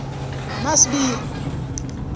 masibiya